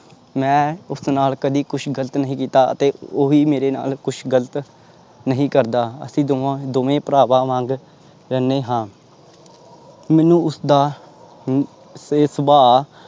ਮੈਂ ਉਸ ਨਾਲ ਕਦੇ ਕੁਛ ਗ਼ਲਤ ਨਹੀਂ ਕੀਤਾ ਅਤੇ ਉਹ ਵੀ ਮੇਰੇ ਨਾਲ ਕੁਛ ਗ਼ਲਤ ਨਹੀਂ ਕਰਦਾ, ਅਸੀਂ ਦੋਵਾਂ ਦੋਵੇਂ ਭਰਾਵਾਂ ਵਾਂਗ ਰਹਿੰਦੇ ਹਾਂ ਮੈਨੂੰ ਉਸਦਾ ਸ ਸੁਭਾਅ